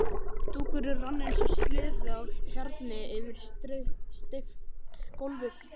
Dúkurinn rann eins og sleði á hjarni yfir steypt gólfið.